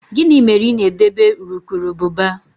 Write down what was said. Gịnị mere ị na-edebe urukurubụba?